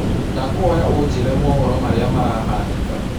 ndakũhoya unjĩre mohoro marĩa marahanĩka